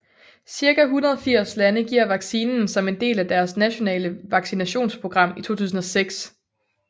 Cirka 180 lande giver vaccinen som en del af deres nationale vaccinationsprogram i 2006